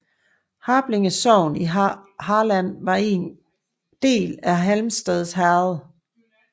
Harplinge sogn i Halland var en del af Halmstad herred